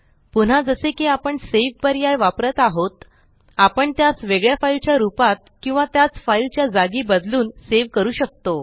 पुन्हा जसे की आपण सावे पर्याय वापरत आहोत आपण त्यास वेगळ्या फाइल च्या रूपात किंवा त्याच फाइल च्या जागी बदलून सेव करू शकतो